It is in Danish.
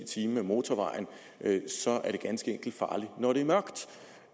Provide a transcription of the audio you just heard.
time ad motorvejen ganske enkelt er farligt når det er mørkt